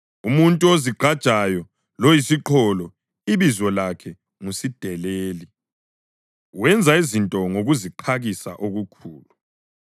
Umuntu ozigqajayo loyisiqholo ibizo lakhe ngu “Sideleli,” wenza izinto ngokuziqakisa okukhulu.